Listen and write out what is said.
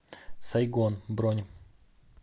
сайгон бронь